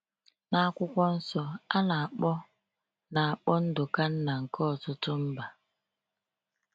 N’akwụkwọ nsọ, a na-akpọ na-akpọ Nduka nna nke ọtụtụ mba.